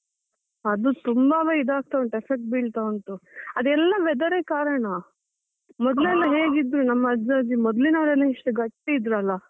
ಅದು ತುಂಬವೇ ಇದಾಗ್ತಾ ಉಂಟು, effect ಬೀಳ್ತಾ ಉಂಟು. ಅದೆಲ್ಲ weather ರೆ ಕಾರಣ ಹೇಗ್ ಇದ್ರೂ ನಮ್ ಅಜ್ಜ ಅಜ್ಜಿ ಮೊದ್ಲಿನವ್ರೆಲ್ಲ ಎಷ್ಟು ಗಟ್ಟಿ ಇದ್ರಲ್ಲ.